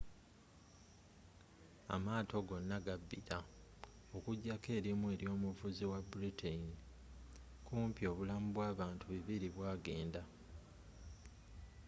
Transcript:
amaato gonna gabbila okujako erimu ery'omuvuzi w'ebritain kumpi obulamu bwabantu 200 bwagenda